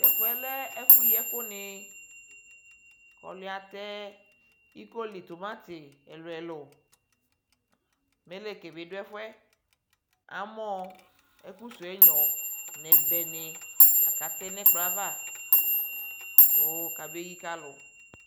tɛ fuɛ lɛ ɛfu yi ɛku ni kɔ ɔluyɛ atɛ iko li tomati ɛluɛlu mɛneke bi ɖu ɛfuɛ amɔ ɛku suo ɛgŋɔ n ' ɛbɛ ni aka tɛ nɔ ɛkplɔ ava ku ka meyi ka nalu